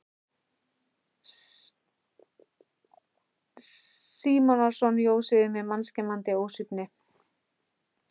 Símonarson jós yfir mig mannskemmandi ósvífni.